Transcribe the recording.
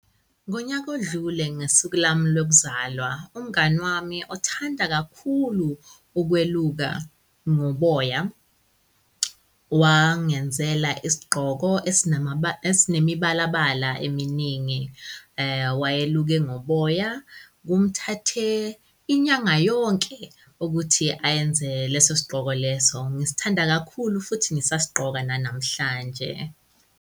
Ngonyaka odlule ngesuku lami lokuzalwa, umngani wami othanda kakhulu ukweluka ngoboya wangenzela isigqoko esinemibalabala eminingi. Wayeluke ngoboya, kumthathe inyanga yonke ukuthi ayenze leso sigqoko leso. Ngisithanda kakhulu futhi ngisasigqoka nanamhlanje.